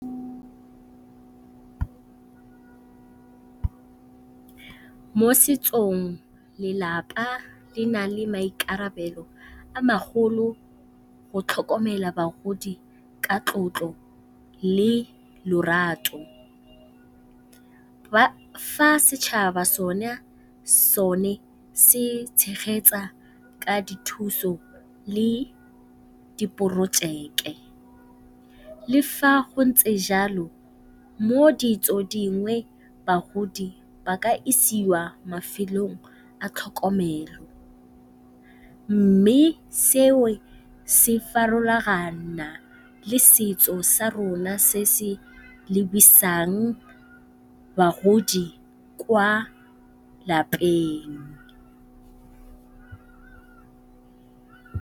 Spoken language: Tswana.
Mo setsong lelapa le na le maikarabelo a magolo go tlhokomela bagodi ka tlotlo le lorato, fa setšhaba so ne se tshegetsa ka dithuso le diporojeke. Le fa go ntse jalo mo ditso dingwe bagodi ba ka isiwa mafelong a tlhokomelo, mme se o se farologana le setso sa rona se se lebisang bagodi kwa lapeng.